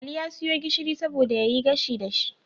Ali ya siyo gishiri saboda yayi gashi dashi